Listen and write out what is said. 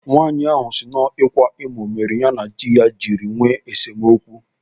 Nwaanyị ahụ siri na ọ bụ ịkwa emo mere ya na diya jiri nwee esemokwu.